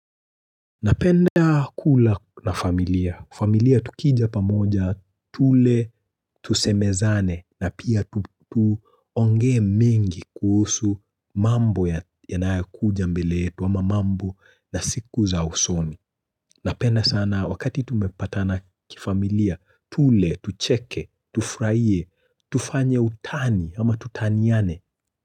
Napenda kula na familia. Familia tukija pamoja, tule, tusemezane na pia tuongee mingi kuhusu mambo yanayo kuja mbele yetu ama mambo na siku za usoni. Napenda sana wakati tumepatana kifamilia, tule, tucheke, tufurahie, tufanye utani ama tutaniane.